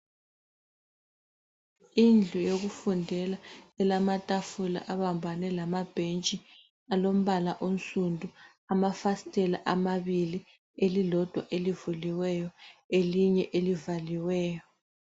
Indlu yokufundela elamatafula abambane lamabhentshi alombala onsundu. Amafasitela amabili elilodwa elivuliweyo elinye elivaliweyo.